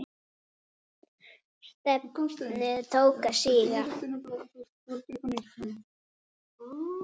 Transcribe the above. Stefnið tók að síga.